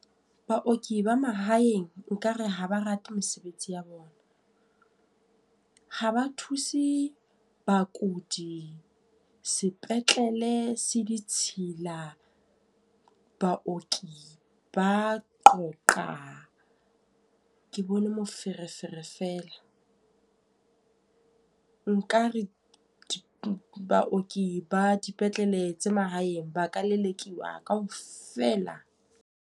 Baoki ba mahaeng nkare ha ba rate mesebetsi ya bona. Ha ba thuse bakudi, sepetlele se ditshila. Baoki ba qoqa, ke bone moferefere fela. Nkare baoki ba dipetlele tse mahaeng ba ka lelekiwa ka ofela.